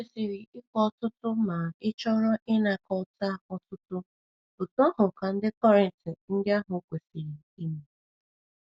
I kwesịrị ịkụ ọtụtụ ma ịchọrọ ịnakọta ọtụtụ, otú ahụ ka ndị Kọrịnt ndị ahụ kwesiri ime.